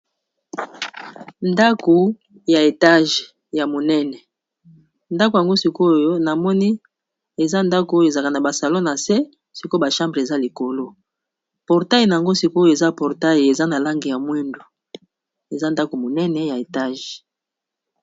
Ndaku ya etage ya monene, Ndaku yango sik'oyo na moni eza ndaku oyo ezalaka na ba salon na se, sik'oyo ba chambre eza likolo . Portai n'ango sik'oyo eza portail eza na langi ya moyindo, eza ndaku monene ya etage .